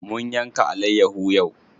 Mun yanka alayyaho yau.